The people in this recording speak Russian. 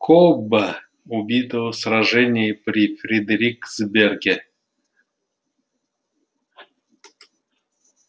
кобба убитого в сражении при фредериксберге